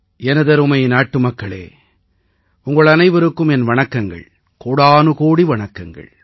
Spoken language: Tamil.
எனதருமை நாட்டுமக்களே உங்கள் அனைவருக்கும் என் வணக்கங்கள் கோடானுகோடி வணக்கங்கள்